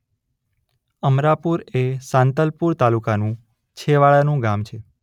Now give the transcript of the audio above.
અમરાપુર એ સાંતલપુર તાલુકાનું છેવાડાનું ગામ છે